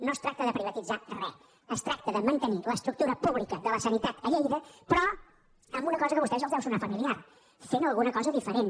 no es tracta de privatitzar re es tracta de mantenir l’estructura pública de la sanitat a lleida però amb una cosa que a vostès els deu sonar familiar fent alguna cosa diferent